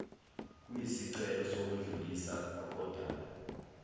kwisicelo sokwedluliswa kodaba